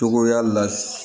Cogoya la